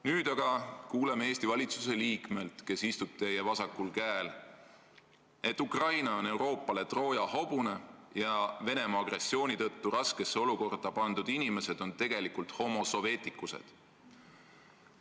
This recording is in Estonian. Nüüd aga kuuleme Eesti valitsuse liikmelt, kes istub teie vasakul käel, et Ukraina on Euroopa jaoks Trooja hobune ja et Venemaa agressiooni tõttu raskesse olukorda pandud inimesed on tegelikult homo soveticus'ed.